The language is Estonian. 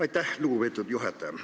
Aitäh, lugupeetud juhataja!